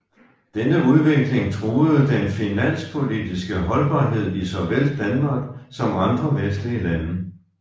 Denne udvikling truede den finanspolitiske holdbarhed i såvel Danmark som andre vestlige lande